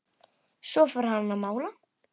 Svo fór hann að mála.